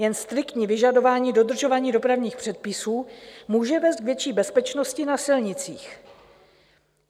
Jen striktní vyžadování dodržování dopravních předpisů může vést k větší bezpečnosti na silnicích.